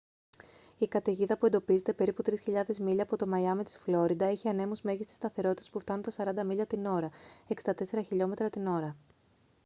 η καταιγίδα που εντοπίζεται περίπου 3.000 μίλια από το μαϊάμι της φλόριντα έχει ανέμους μέγιστης σταθερότητας που φτάνουν τα 40 μίλια την ώρα 64 χλμ την ώρα